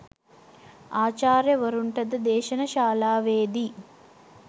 ආචාර්යවරුන්ටද දේශන ශාලාවේදී